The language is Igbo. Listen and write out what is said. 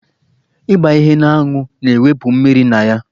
Ịgba ihe n'anwụ na-ewụpụ mmiri na ya.